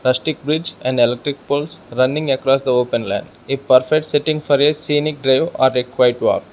platic bridge and electric poles running across the open land a perfect sitting for a scenic drive or a quiet walk.